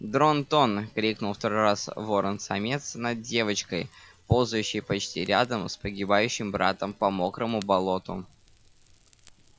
дрон-тон крикнул второй раз ворон-самец над девочкой ползающей почти рядом с погибающим братом по мокрому болоту